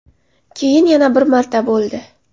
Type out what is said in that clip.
Keyin yana bir marta bo‘ldi.